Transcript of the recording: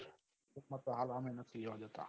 માનતો હાલ આમે નથી લેવા દેતા